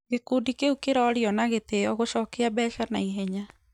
Gikundi kiũ kĩrorĩo na gĩtĩo gũchokĩa mbeca naĩhenya.